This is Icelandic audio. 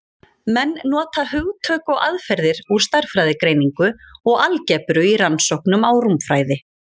Menn nota hugtök og aðferðir úr stærðfræðigreiningu og algebru í rannsóknum á rúmfræði.